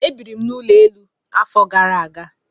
E biirim n'ụlọ elu afọ gara aga.